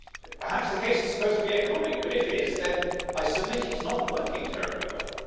Perhaps the case is supposed to be economic, but if it is then I submit it is not working terribly well.